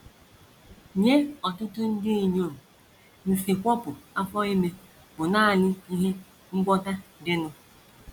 Nye ọtụtụ ndị inyom, nsikwopụ afọ ime bụ nanị ihe ngwọta dịnụ. ”